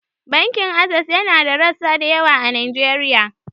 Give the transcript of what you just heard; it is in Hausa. Bankin Ases yana da rassa da yawa a Najeriya.